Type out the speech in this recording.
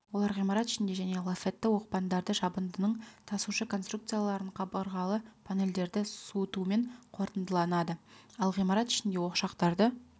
олар ғимарат ішіне және лафетті оқпандарды жабындының тасушы конструкцияларын қабырғалы панельдерді суытумен қорытындыланады ал ғимарат ішіндегі ошақтарды